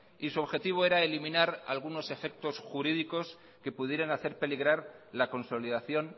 y su objetivo era eliminar algunos efectos jurídicos que pudieran hacer peligrar la consolidación